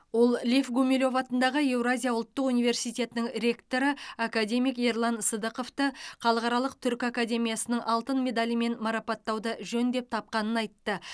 ол лев гумилев атындағы еуразия ұлттық университетінің ректоры академик ерлан сыдықовты халықаралық түркі академиясының алтын медалімен марапаттауды жөн деп тапқанын айтты